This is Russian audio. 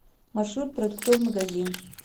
маршрут продуктовый магазин